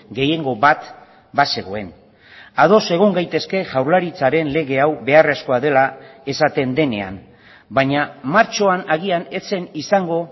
gehiengo bat bazegoen ados egon gaitezke jaurlaritzaren lege hau beharrezkoa dela esaten denean baina martxoan agian ez zen izango